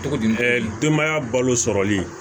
Cogodi denbaya balo sɔrɔli